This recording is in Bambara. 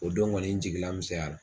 O dɔn kɔni n jigilamisɛnyara la.